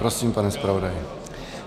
Prosím, pane zpravodaji.